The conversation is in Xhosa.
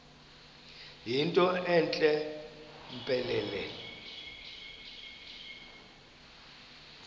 yinto entle mpelele